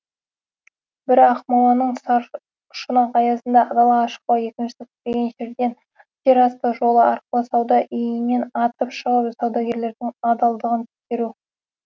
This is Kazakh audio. бірі ақмоланың саршұнақ аязында далаға шықпау екіншісі күтпеген жерден жерасты жолы арқылы сауда үйінен атып шығып саудагерлердің адалдығын тексеру